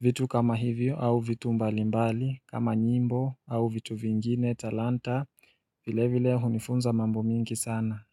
vitu kama hivyo au vitu mbalimbali kama nyimbo au vitu vingine talanta vile vile hunifunza mambo mingi sana.